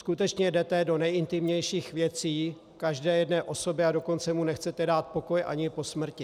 Skutečně jdete do nejintimnějších věcí každé jedné osoby, a dokonce jí nechcete dát pokoj ani po smrti.